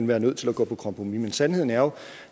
være nødt til at gå på kompromis men sandheden er jo